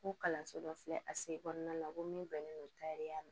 Ko kalanso dɔ filɛ a sen kɔnɔna ko min bɛnnen don takariya la